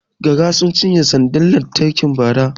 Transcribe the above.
Gara sun cinye sandar lantarki Bara